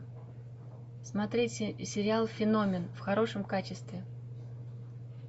смотреть сериал феномен в хорошем качестве